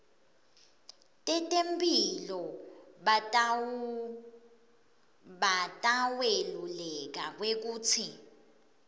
tetemphilo bataweluleka kwekutsi